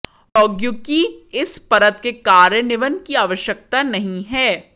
प्रौद्योगिकी इस परत के कार्यान्वयन की आवश्यकता नहीं है